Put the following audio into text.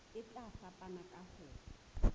e tla fapana ka ho